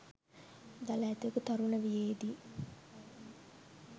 දළ ඇතකු තරුණ වියේදී